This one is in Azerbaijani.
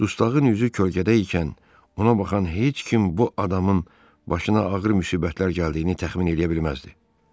Dustağın üzü kölgədə ikən ona baxan heç kim bu adamın başına ağır müsibətlər gəldiyini təxmin eləyə bilməzdi.